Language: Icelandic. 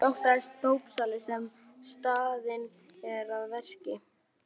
Hvað óttast dópsali sem staðinn er að verki?